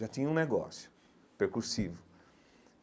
Já tinha um negócio percursivo.